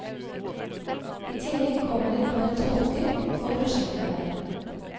I tillegg kommer et par tolker og prosjektarbeidere.